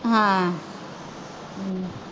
ਹਾਂ